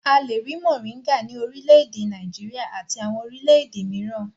A le rí mòríngà ní orílẹ̀-èdè Nàìjíríà àti àwọn orílẹ̀-èdè mìíràn.